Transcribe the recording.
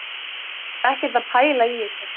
Hann var ekkert að pæla í þessu